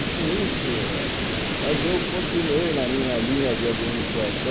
E com isso, ah mas eu continuei na minha linha de administração,